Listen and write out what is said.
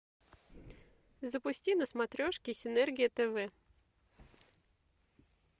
запусти на смотрешке синергия тв